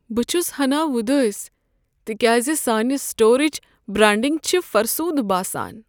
بہٕ چھُس ہنا وۄدٲسۍ تکیاز سانہِ سٹورٕچ برانڈنگ چھ فرسوٗدٕ باسان۔